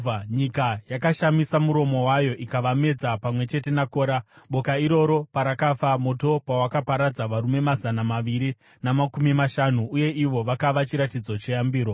Nyika yakashamisa muromo wayo ikavamedza pamwe chete naKora, boka iroro parakafa, moto pawakaparadza varume mazana maviri namakumi mashanu. Uye ivo vakava chiratidzo cheyambiro.